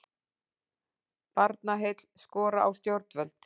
Barnaheill skora á stjórnvöld